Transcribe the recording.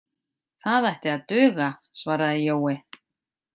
Það ætti að duga, svaraði Jói.